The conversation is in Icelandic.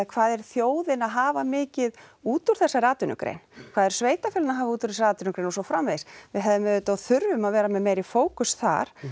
hvað er þjóðin að hafa mikið út úr þessari atvinnugrein hvað eru sveitarfélögin að hafa út úr þessari atvinnugrein og svo framvegis við hefðum auðvitað og þurfum að vera með meiri fókus þar en